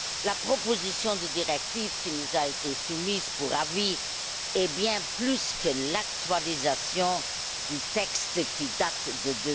La proposition de directive qui nous a été soumise pour avis est bien plus que l'actualisation du texte qui date de